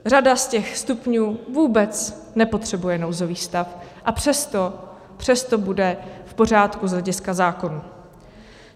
Řada z těch stupňů vůbec nepotřebuje nouzový stav, a přesto, přesto bude v pořádku z hlediska zákonů.